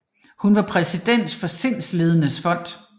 Hun var præsident for Sindslidendes Fond